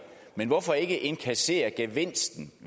men hvorfor ikke indkassere gevinsten